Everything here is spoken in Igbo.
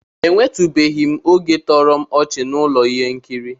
Enwetụbeghị m oge toro m ọchị na ụlọ ihe nkiri